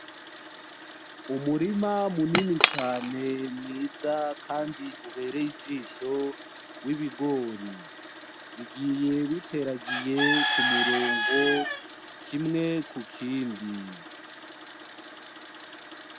Umurima munini cane mwiza kandi ubereye ijisho w'ibigori; bigiye biteragiye kumuromgo kimwe kukindi.